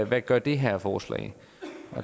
hvad gør det her forslag